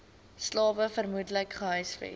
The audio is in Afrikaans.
slawe vermoedelik gehuisves